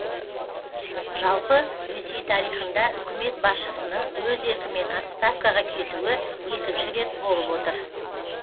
жалпы ресей тарихында үкімет басшысының өз еркімен отставкаға кетуі екінші рет болып отыр